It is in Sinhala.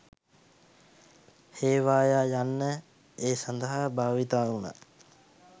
හේවායා යන්න ඒ සඳහා භාවිතා වුණා